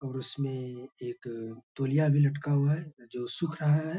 और उसमें एक तोलिया भी लटका हुआ है जो सुख रहा है।